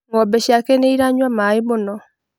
Ng'ombe ciake nĩiranyua maĩ mũno